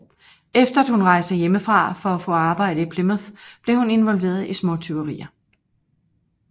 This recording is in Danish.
Efter at hun rejste hjemmefra for at få arbejde i Plymouth blev hun involveret i småtyverier